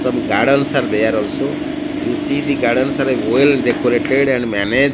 some gardens are there also you see the gardens are a well decorated and manage--